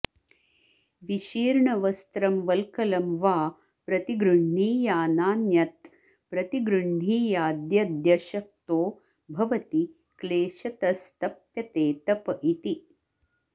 विशीर्णवस्त्रं वल्कलं वा प्रतिगृह्णीयानान्यत्प्रतिगृह्णीयाद्यद्यशक्तो भवति क्लेशतस्तप्यते तप इति